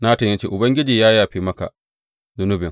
Natan ya ce, Ubangiji ya yafe maka zunubin.